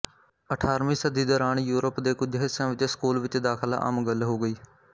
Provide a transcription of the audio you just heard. ਅਠਾਰਵੀਂ ਸਦੀ ਦੌਰਾਨ ਯੂਰਪ ਦੇ ਕੁਝ ਹਿੱਸਿਆਂ ਵਿੱਚ ਸਕੂਲ ਵਿੱਚ ਦਾਖਲਾ ਆਮ ਗੱਲ ਹੋ ਗਈ